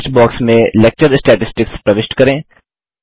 search box में lecture statistics प्रविष्ट करें